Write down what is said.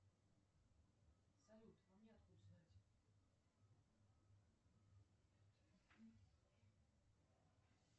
салют а мне откуда знать